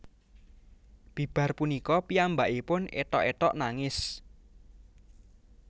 Bibar punika piyambakipun éthok éthok nangis